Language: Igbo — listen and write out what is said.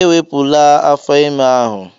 Ewepụla afọ ime ahụ!